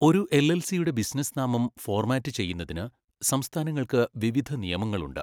ഒരു എൽഎൽസിയുടെ ബിസിനസ്സ് നാമം ഫോർമാറ്റ് ചെയ്യുന്നതിന് സംസ്ഥാനങ്ങൾക്ക് വിവിധ നിയമങ്ങളുണ്ട്.